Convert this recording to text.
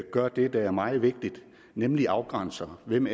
gør det der er meget vigtigt nemlig afgrænser hvem